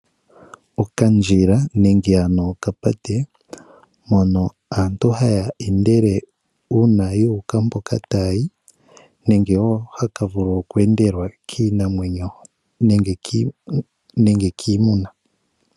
Okandjila hono aantu haya endele uuna yu uka mpoka taya yi nenge haka vulu oku endelwa kiinamwenyo nenge kiimuna.